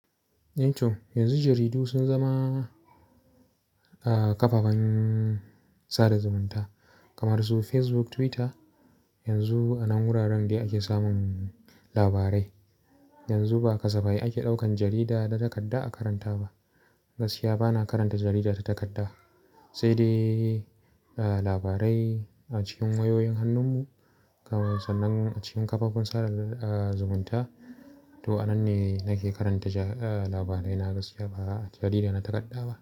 Yanzu jaridu sun zama ƙafafan sada zumunta kamar su Facebook, Twitter. Yanzu a nan wuraren ne ake samun labarai. Yanzu ba kasafai ake ɗaukan jarida ta takadda a karanta ba. Gaskiya bana karanta jarida ta takadda. Sai dai labarai a cikin wayoyin hannun mu kamar sannan a cikin kafafen sada zumunta. To a nan ne nake karanta labarai. Na gaskiya bana karanta jarida ta takadda ba.